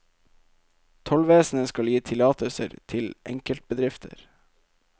Tollvesenet skal gi tillatelser til enkeltbedrifter.